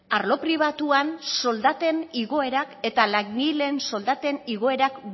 arlo pribatuan soldaten igoerak eta langileen soldaten igoerak